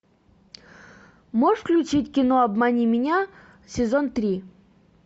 можешь включить кино обмани меня сезон три